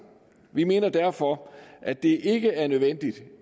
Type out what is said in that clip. vi mener derfor at det ikke er nødvendigt